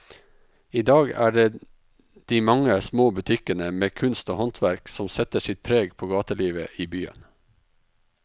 I dag er det de mange små butikkene med kunst og håndverk som setter sitt preg på gatelivet i byen.